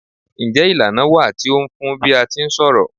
Njé ìlànà wà tí o fun n bi a ti ń ṣọ̀rọ̀?